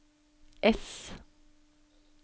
S